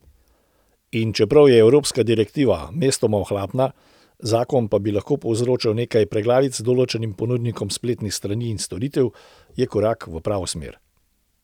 In čeprav je evropska direktiva mestoma ohlapna, zakon pa bi lahko povzročal nekaj preglavic določenim ponudnikom spletnih strani in storitev, je korak v pravo smer.